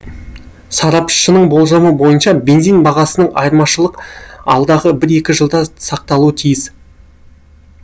сарапшының болжамы бойынша бензин бағасындағы айырмашылық алдағы бір екі жылда сақталуы тиіс